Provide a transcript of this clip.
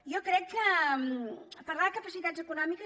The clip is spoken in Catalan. jo crec que parlar de capacitats econòmiques